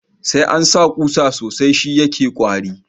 Sai ansa kusa sosai sh yake kwari